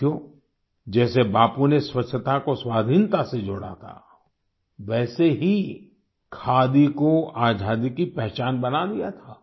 साथियो जैसे बापू ने स्वच्छता को स्वाधीनता से जोड़ा था वैसे ही खादी को आज़ादी की पहचान बना दिया था